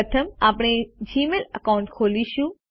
પ્રથમ આપણે Gmail account ખોલીશું